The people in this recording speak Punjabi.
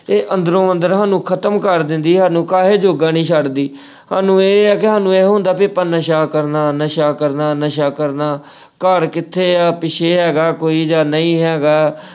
ਇਹ ਅੰਦਰੋਂ-ਅੰਦਰ ਸਾਨੂੰ ਖ਼ਤਮ ਕਰ ਦਿੰਦੀ, ਸਾਨੂੰ ਕਾਸੇ ਜੋਗਾ ਨੀ ਛੱਡਦੀ ਅਹ ਸਾਨੂੰ ਇਹ ਆ ਕਿ ਸਾਨੂੰ ਇਹ ਹੁੰਦਾ ਵੀ ਆਪਾਂ ਨਸ਼ਾ ਕਰਨਾ, ਨਸ਼ਾ ਕਰਨਾ, ਨਸ਼ਾ ਕਰਨਾ ਅਹ ਘਰ ਕਿੱਥੇ ਐ ਪਿੱਛੇ ਹੈਗਾ ਕੋਈ ਜਾਂ ਨਹੀਂ ਹੈਗਾ।